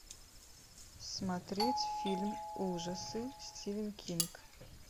смотреть фильм ужасы стивен кинг